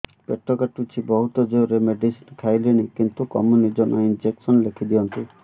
ପେଟ କାଟୁଛି ବହୁତ ଜୋରରେ ମେଡିସିନ ଖାଇଲିଣି କିନ୍ତୁ କମୁନି ଜମା ଇଂଜେକସନ ଲେଖିଦିଅନ୍ତୁ